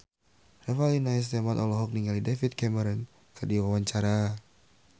Revalina S. Temat olohok ningali David Cameron keur diwawancara